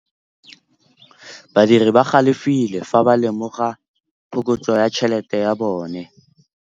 Badiri ba galefile fa ba lemoga phokotsô ya tšhelête ya bone.